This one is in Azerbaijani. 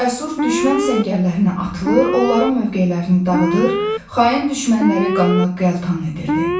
Cəsur düşmən səngərlərinə atılır, onların mövqelərini dağıdır, xain düşmənləri qanına qəltan edirdi.